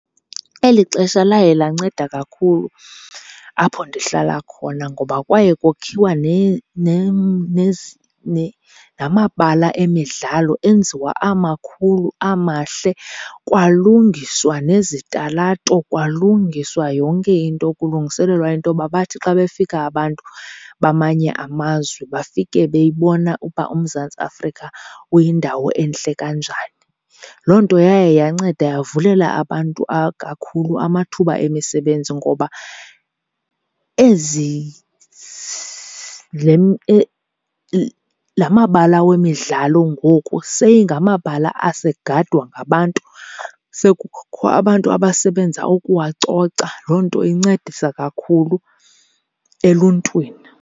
Eli xesha laye lanceda kakhulu apho ndihlala khona ngoba kwaye kokhiwa namabala emidlalo, enziwa amakhulu amahle. kwalungiswa nezitalato, kwalungiswa yonke into kulungiselelwa into yoba bathi xa befika abantu bamanye amazwe bafike beyibona uba uMzantsi Afrika kuyindawo entle kanjani. Loo nto yaye yanceda yavulela abantu kakhulu amathuba emisebenzi ngoba ezi , la mabala wemidlalo ngoku seyingamabala asegadwa ngabantu, sekukho abantu abasebenza ukuwacoca. Loo nto incedisa kakhulu eluntwini.